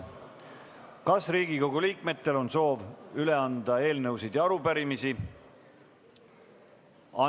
Kas Riigikogu liikmetel on soov üle anda eelnõusid ja arupärimisi?